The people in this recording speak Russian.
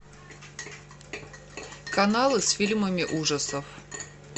каналы с фильмами ужасов